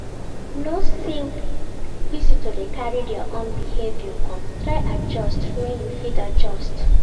know say visitor de carry their own behavior come try adjust when you fit adjust